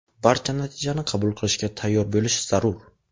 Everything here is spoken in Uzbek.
Barcha natijani qabul qilishga tayyor bo‘lish zarur.